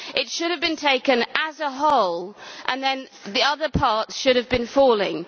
It should have been taken as a whole, and then the other parts should have been falling.